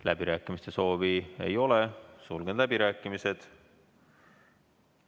Läbirääkimiste soovi ei ole, sulgen läbirääkimised.